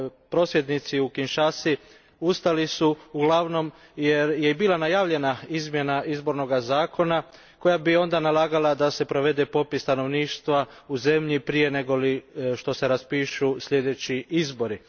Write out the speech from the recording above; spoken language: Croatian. Prosvjednici u Kinshasi ustali su uglavnom jer je bila najavljena izmjena izbornog zakona koja bi onda nalagala da se provede popis stanovništva u zemlji prije nego što se raspišu sljedeći izbori.